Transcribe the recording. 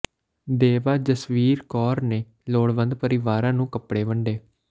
ਦੇਵਾ ਜਸਵੀਰ ਕੌਰ ਨੇ ਲੋੜਵੰਦ ਪਰਿਵਾਰਾਂ ਨੂੰ ਕੱਪੜੇ ਵੰਡੇ